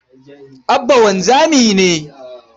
Abba wanzami ne.